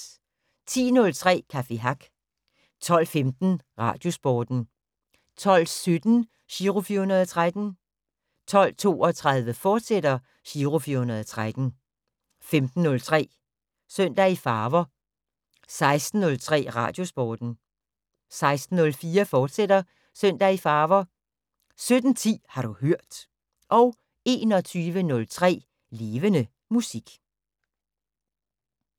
10:03: Café Hack 12:15: Radiosporten 12:17: Giro 413 12:32: Giro 413, fortsat 15:03: Søndag i Farver 16:03: Radiosporten 16:04: Søndag i Farver, fortsat 17:10: Har du hørt 21:03: Levende Musik